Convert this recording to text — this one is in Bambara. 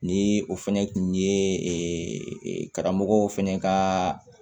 Ni o fɛnɛ kun ye karamɔgɔ fɛnɛ ka